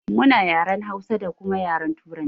Muna yaren Hausa da kuma yaren turanci